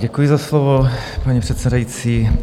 Děkuji za slovo, paní předsedající.